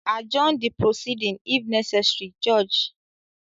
Adjourn the proceeding if necessary, Judge.